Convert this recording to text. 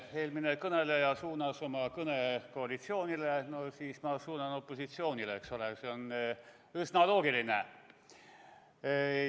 Eelmine kõneleja suunas oma kõne koalitsioonile, no siis mina suunan opositsioonile, eks ole, see on üsna loogiline.